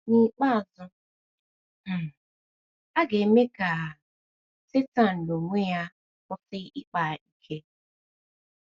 N’ikpeazụ, um a ga - eme ka um Setan n’onwe ya kwụsị ịkpa ike.